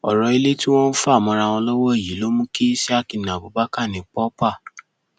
ọrọ ilé tí wọn ń fà mọra wọn lọwọ yìí ló mú kí isiaq na abubakar ní pọpá